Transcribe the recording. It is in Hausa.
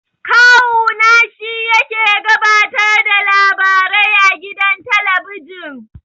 Kawu na shi yake gabatar da labarai a gidan talabijin.